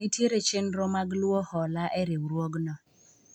nitiere chenro mag luwo hola e riwruogno